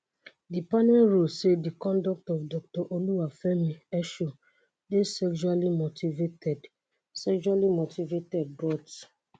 di panel rule say di conduct of doctor oluwafemi esho dey sexually motivated sexually motivated but